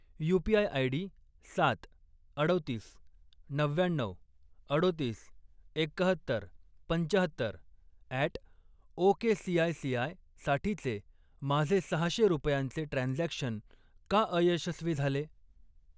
UPI ID सात, अडोतीस, नव्व्याण्णऊ, अडोतीस, एक्काहत्तर, पंचाहत्तर अॅट ओकेसीआयसीआय साठीचे माझे सहाशे रुपयांचे ट्रान्झॅक्शन का अयशस्वी झाले?